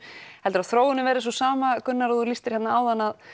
heldurðu að þróunin verði sú sama Gunnar og þú lýstir hérna áðan að